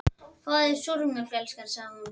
Fáðu þér súrmjólk, elskan, sagði hún.